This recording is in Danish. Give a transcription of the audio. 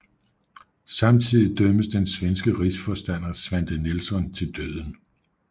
Samtidig dømmes den svenske rigsforstander Svante Nilsson til døden